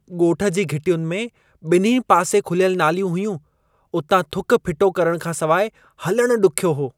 ॻोठ जी घिटियुनि में ॿिन्ही पासे खुलियल नालियूं हुयूं। उतां थुक फिटो खां सवाइ हलणु डुख्यो हो।